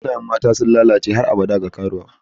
Sunayen mata sun lalace har abada ga karuwa.